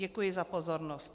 Děkuji za pozornost.